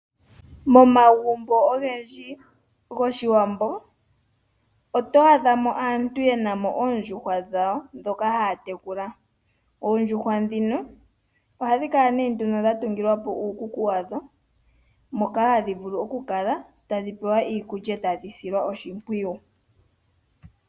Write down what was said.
Momagumbo ogendji goshiwambo oto adha mo aantu oyendji yena mo oondjuhwa dhawo ndhika haya tekula. Oondjuhwa ndhino ohadhi kala nee nduno dha tungilwa po uukuku wadho moka hadhi vulu oku peyelwa iikulya etadhi silwa oshimpwiyu.